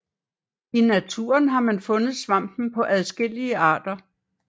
I naturen har man fundet svampen på adskillige arter